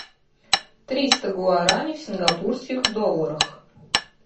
триста гуарани в сингапурских долларах